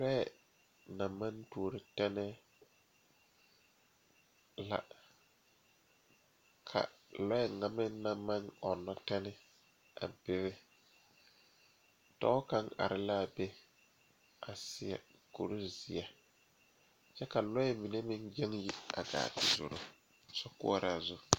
Lɔɛ naŋ maŋ tuo teŋa kaŋ poɔ la ka dakogre ane tabol biŋ a be ka bibile a be a be ka poolo meŋ be a be komie pare tabol zu ane laare kyɛ ka lɔɛ mine meŋ gaa te zoro sokoɔraa zu.